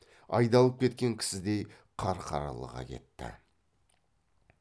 айдалып кеткен кісідей қарқаралыға кетті